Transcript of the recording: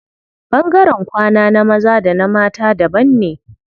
Ɓangaren kwana na maza da na mata daban ne.